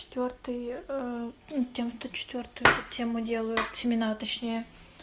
четвёртый ээ ну девяносто четвёртый эту тему делаю семена точнее